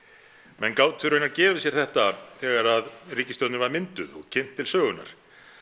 menn gátu raunar gefið sér þetta þegar ríkisstjórnin var mynduð og kynnt til sögunnar